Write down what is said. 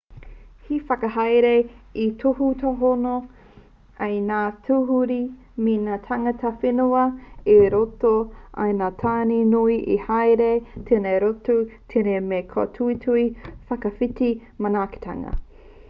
he whakahaere e tūhonohono ai i ngā tūruhi me ngā tāngata whenua i roto i ngā tāone nui e haere nei rātou tēnei mea te kōtuitui whakawhiti manaakitanga